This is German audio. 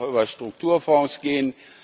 Das muss auch über Strukturfonds gehen.